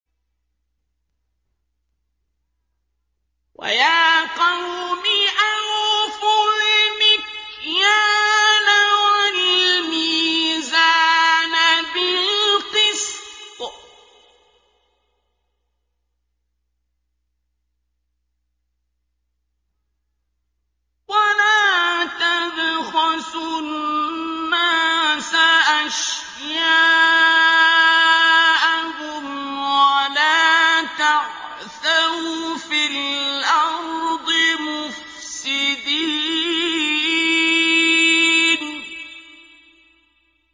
وَيَا قَوْمِ أَوْفُوا الْمِكْيَالَ وَالْمِيزَانَ بِالْقِسْطِ ۖ وَلَا تَبْخَسُوا النَّاسَ أَشْيَاءَهُمْ وَلَا تَعْثَوْا فِي الْأَرْضِ مُفْسِدِينَ